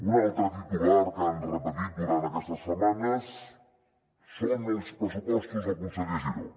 un altre titular que han repetit durant aquestes setmanes són els pressupostos del conseller giró